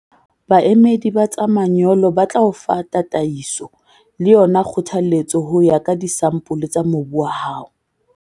Baemedi ba tsa manyolo ba tla o fa tataiso le yona kgothaletso ho ya ka disampole tsa mobu wa hao.